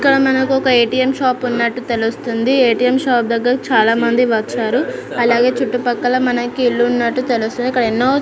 ఇక్కడ మనకు ఒక ఏ టీ ఏం షాప్ ఉన్నటు తెలుస్తుంది ఏ టీ ఏం షాప్ దెగ్గర చాల మంది వచ్చారు అలాగే చుట్టూ పక్కల మనకు ఇళ్లునట్టు తెలుస్తుంది--